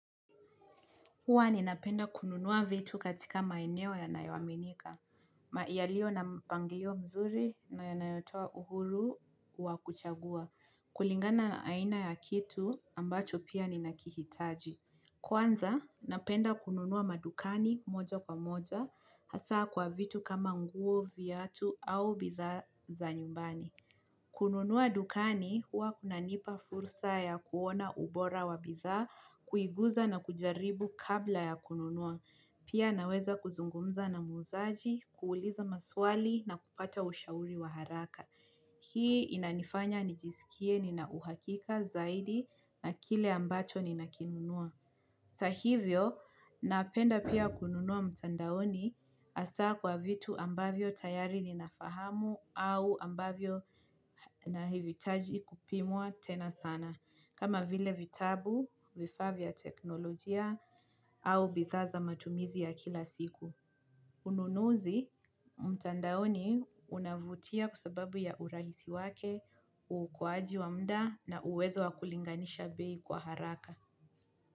Huwa ninapenda kununua vitu katika maeneo yanayoaminika. Maialio na mpangilio mzuri na yanayotoa uhuru wa kuchagua. Kulingana aina ya kitu ambacho pia ninakihitaji. Kwanza, napenda kununua madukani moja kwa moja hasa kwa vitu kama nguo, viatu au bidhaa za nyumbani. Kununua dukani huwa kunanipa fursa ya kuona ubora wa bidhaa, kuiguza na kujaribu kabla ya kununua. Pia naweza kuzungumza na muuzaji,, kuuliza maswali na kupata ushauri wa haraka. Hii inanifanya nijisikie nina uhakika zaidi na kile ambacho ninakinunua. Hata hivyo, napenda pia kununua mtandaoni hasa kwa vitu ambavyo tayari ninafahamu au ambavyo nahivitaji kupimwa tena sana. Kama vile vitabu, vifaa vya teknolojia au bidhaa za matumizi ya kila siku. Ununuzi mtandaoni unavutia kwa sababu ya urahisi wake, uokoaji wa mda na uwezo wa kulinganisha bei kwa haraka.